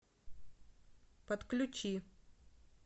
подключи